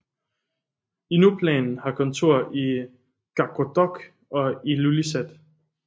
Inuplan har kontorer i Qaqortoq og i Ilulissat